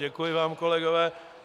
Děkuji vám, kolegové.